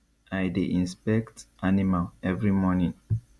i dey inspect animal every morning